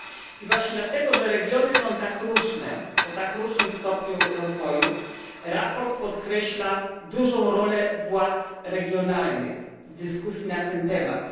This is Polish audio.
I właśnie dlatego, że regiony są tak różne, o tak różnym stopniu rozwoju, sprawozdanie podkreśla dużą rolę władz regionalnych w dyskusji na ten temat.